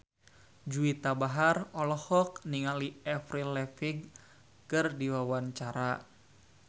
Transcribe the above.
Juwita Bahar olohok ningali Avril Lavigne keur diwawancara